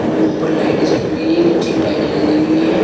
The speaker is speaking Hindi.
और ऊपर लाइट जल रही है नीचे टाइल लगी हुई है।